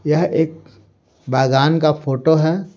यह एक बागान का फोटो है।